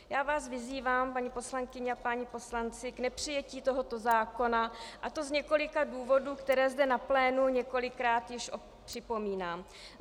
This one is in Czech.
Já vás vyzývám, paní poslankyně a páni poslanci, k nepřijetí tohoto zákona, a to z několika důvodů, které zde na plénu několikrát již připomínám.